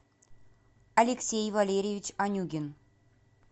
алексей валерьевич анюгин